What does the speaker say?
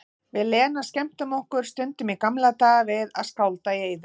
Við Lena skemmtum okkur stundum í gamla daga við að skálda í eyður.